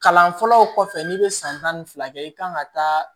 Kalan fɔlɔ kɔfɛ n'i bɛ san tan ni fila kɛ i kan ka taa